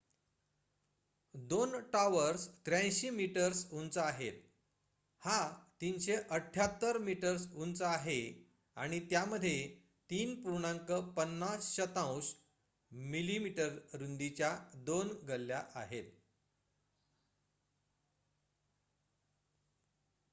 2 towers 83 metres उंच आहेत हा 378 मीटर्स उंच आहे आणि त्यामध्ये 3.50 मी रुंदीच्या 2 गल्ल्या आहेत